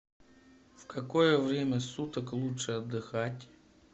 в какое время суток лучше отдыхать